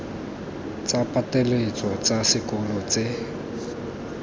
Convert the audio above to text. tsa pateletso tsa sekolo tse